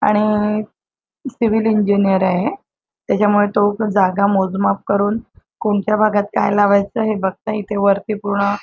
आणि civil engineer आहे त्याच्यामुळे तो जागा मोजमाप करून कोणत्या भागात काय लावायच हे बघतोय इथे वरती पूर्ण.